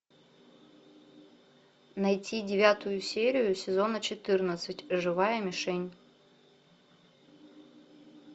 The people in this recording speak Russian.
найти девятую серию сезона четырнадцать живая мишень